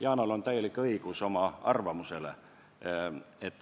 Yanal on täielik õigus oma arvamusele.